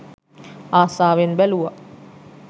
අසාවෙන් බැලුවා